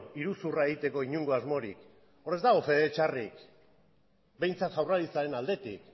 iruzurra egiteko inongo asmorik hor ez dago fede txarrik behintzat jaurlaritzaren aldetik